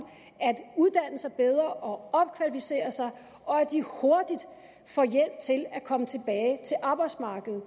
at uddanne sig bedre og opkvalificere sig og at de hurtigt får hjælp til at komme tilbage til arbejdsmarkedet